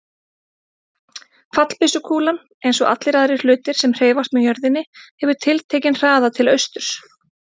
Fallbyssukúlan, eins og allir aðrir hlutir sem hreyfast með jörðinni, hefur tiltekinn hraða til austurs.